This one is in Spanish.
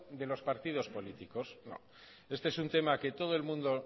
de los partidos políticos este es un tema que todo el mundo